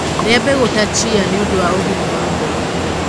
rĩa mbegu ta chia nĩũndũ wa ũgima wa ngoro